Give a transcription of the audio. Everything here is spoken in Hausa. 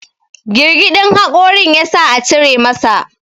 girgidin hakorin ya sa a cire masa